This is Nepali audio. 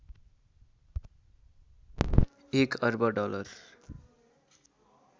एक अर्ब डलर